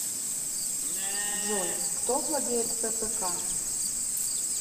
джой кто владеет фпк